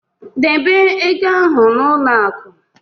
Debe ego ahụ n'ụlọ akụ.